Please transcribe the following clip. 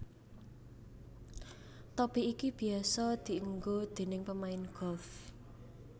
Topi iki biyasa dienggo déning pemain golf